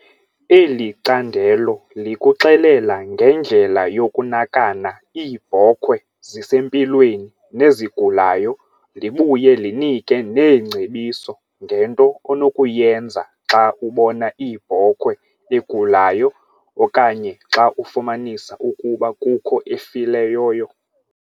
Eli candelo likuxelela ngendlela yokunakana iibhokhwe zisempilweni nezigulayo, libuye linike neengcebiso ngento onokuyenza xa ubona iibhokhwe egulayo okanye xa ufumanisa ukuba kukho efileyoyo.